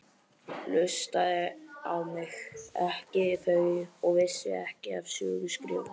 Hlustaði á mig, ekki þau, og vissu ekki af söguskrifum.